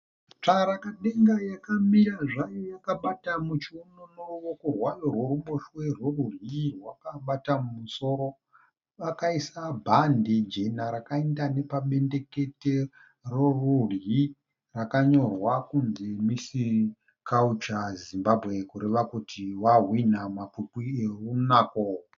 Tsvarakadenga yakamira zvayo yakabata muchiuno neruoko rwayo rworuboshwe, rworudyi rwakabata mumusoro. Akaisa bhande jena rakaenda nepabendekete rorudyi rakanyorwa kunzi "Miss culture Zimbabwe" kureva kuti vahwina mumakwikwi ehunako.